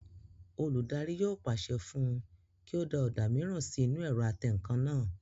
Olùdarí yóò pàṣẹ fún un kí ó da ọ̀dà mìíràn sí inú ẹ̀rọ atẹǹkan náà